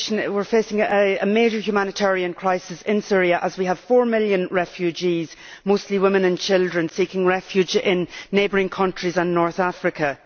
We are facing a major humanitarian crisis in Syria, as we have four million refugees mostly women and children seeking refuge in neighbouring countries and in North Africa.